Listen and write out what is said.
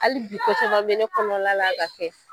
Hali bi ko caman bɛ ne kɔnɔna la ka kɛ.